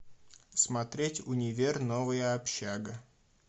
смотреть универ новая общага